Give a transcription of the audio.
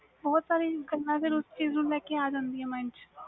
ਬਹੁਤ ਸਾਰੀਆਂ ਗੱਲਾਂ ਆ ਜਾਂਦੀਆਂ ਨੇ mind